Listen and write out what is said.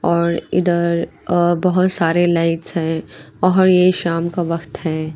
और उधर अ बहुत सारे लाइट्स है और ये शाम का वक्त है।